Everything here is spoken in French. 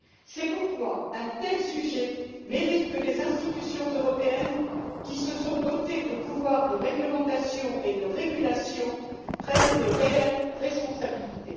C'est pourquoi un tel sujet mérite que les institutions européennes, qui se sont dotées de pouvoirs de réglementation et de régulation, prennent de réelles responsabilités.